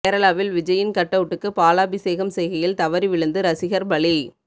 கேரளாவில் விஜய்யின் கட்அவுட்டுக்கு பாலாபிஷேகம் செய்கையில் தவறி விழுந்து ரசிகர் பலி